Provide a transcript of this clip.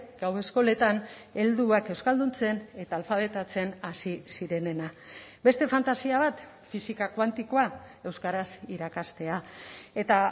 gau eskoletan helduak euskalduntzen eta alfabetatzen hasi zirenena beste fantasia bat fisika kuantikoa euskaraz irakastea eta